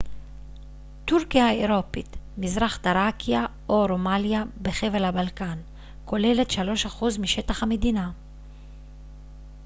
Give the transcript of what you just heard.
טורקיה האירופית מזרח תראקיה או רומליה בחבל הבלקן כוללת 3% משטח המדינה